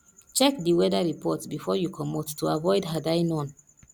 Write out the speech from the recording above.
check di weather report before you comot to avoid had i known